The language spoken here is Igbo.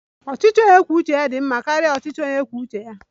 Ọchịchị onye kwuo uche ya dị mma karịa ọchịchị onye kwuo uche ya